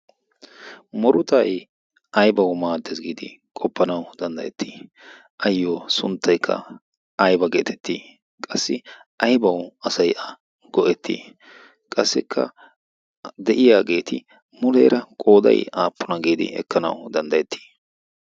Murutay ayibawu maaddes giidi qoppanawu danddayettii? Ayyoo sunttayikka ayiba geetettii? Qassi ayibawu asay a go'ettii? Qassikka de'iyageeti muleera qooday aappuna giidi ekkanawu danddayettii?